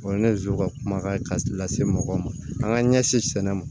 O ye ne zon ka kuma ye ka lase mɔgɔw ma an ka ɲɛsin sɛnɛ ma